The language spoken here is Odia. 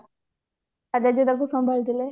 ତା ଜେଜେ ତାକୁ ସମ୍ଭାଳି ଥିଲେ